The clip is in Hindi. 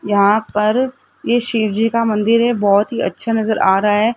यहां पर ये शिवजी का मंदिर है बहोत ही अच्छा नजर आ रहा है।